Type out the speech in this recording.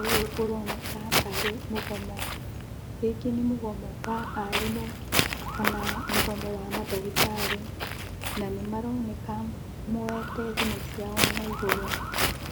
Ũyũ ũroneka tarĩ mũgomo, rĩngĩ nĩ mũgomo wa arimũ kana mũgomo wa mandagĩtarĩ. Na nĩmaroneka moyete thimũ ciao na igũrũ